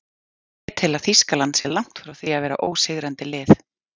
Ég tel að Þýskaland sé langt frá því að vera ósigrandi lið.